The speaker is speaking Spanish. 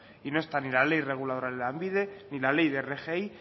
y no están ni la ley reguladora de lanbide ni la ley de rgi